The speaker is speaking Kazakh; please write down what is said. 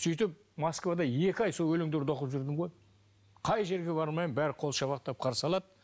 сөйтіп москвада екі ай сол өлеңдерді оқып жүрдім ғой қай жерге бармайын бәрі қол шапалақтап қарсы алады